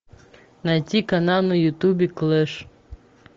найти канал на ютубе клэш